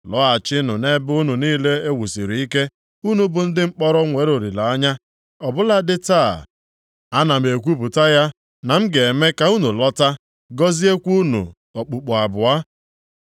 Lọghachinụ nʼebe unu niile e wusiri ike, unu bụ ndị mkpọrọ nwere olileanya. Ọ bụladị taa, ana m ekwupụta ya na m ga-eme ka unu lọta, gọziekwa unu okpukpu abụọ.